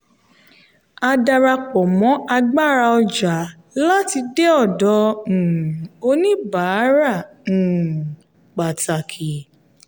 a darapọ̀ mọ́ agbára ọjà láti dé ọdọ um oníbàárà um pàtàkì.